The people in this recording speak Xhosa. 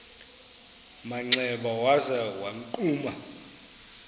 manxeba waza wagquma